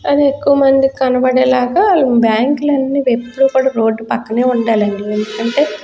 అది ఎక్కువ మందికి కనబడే లాగా ఈ బ్యాంకు లు అన్నీ ఎప్పుడుకూడ రోడ్ పక్కనే ఉండాలండి ఎందుకు అంటే --